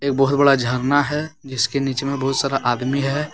बहुत बड़ा झरना है जिसके नीचे में बहुत सारा आदमी है।